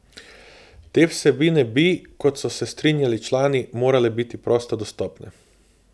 Te vsebine bi, kot so se strinjali člani, morale biti prosto dostopne.